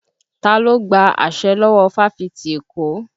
Ta ló gba àṣẹ lọ́wọ́ fáfitì Èkó?